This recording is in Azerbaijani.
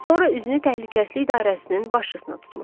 Sonra üzünü təhlükəsizlik idarəsinin başçısına tutmuşdu.